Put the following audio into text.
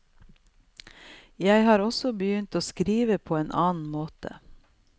Jeg har også begynt å skrive på en annen måte.